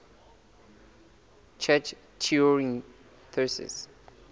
church turing thesis